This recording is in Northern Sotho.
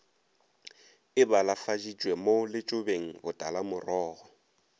e balafaditšwe mo letšobeng botalamorogo